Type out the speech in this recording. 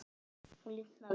Hún lifnar við.